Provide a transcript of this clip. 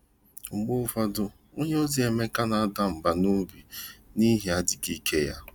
Mgbe ụfọdụ, onye ozi Emeka na-ada mba n’obi n’ihi adịghị ike ya.